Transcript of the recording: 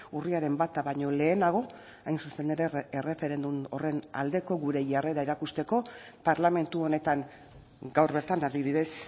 urriaren bata baino lehenago hain zuzen ere erreferendum horren aldeko gure jarrera erakusteko parlamentu honetan gaur bertan adibidez